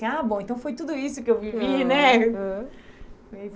Ah, bom. Então foi tudo isso o que eu vivi né.